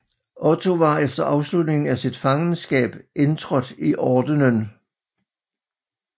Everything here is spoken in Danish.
Otto var efter afslutningen af sit fangenskab indtrådt i ordenen